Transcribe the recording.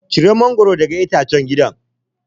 Cire mangwaro daga itacen gidan.